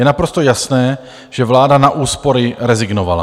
Je naprosto jasné, že vláda na úspory rezignovala.